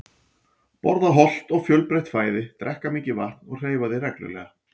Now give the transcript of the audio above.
Borða hollt og fjölbreytt fæði, drekka mikið vatn og hreyfa þig reglulega.